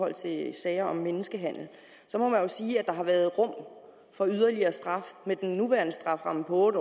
i sager om menneskehandel så må man sige at der har været rum for yderligere straf med den nuværende strafferamme på otte